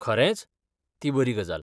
खरेंच? ती बरी गजाल.